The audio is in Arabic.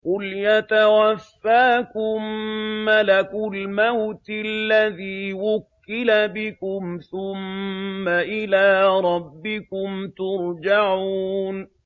۞ قُلْ يَتَوَفَّاكُم مَّلَكُ الْمَوْتِ الَّذِي وُكِّلَ بِكُمْ ثُمَّ إِلَىٰ رَبِّكُمْ تُرْجَعُونَ